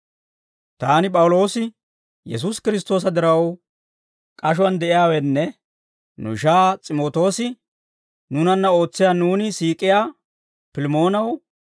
Taani P'awuloosi, Yesuusi Kiristtoosa diraw k'ashuwaan de'iyaawenne nu ishaa S'imootoosi, nuunanna ootsiyaa nuuni siik'iyaa Pilimoonaw,